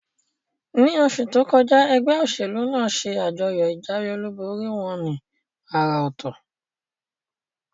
Ní osù tókọjá, egbé òsèlú nàá se àjọyò ìjáwé olúborí wón ní àrà òtò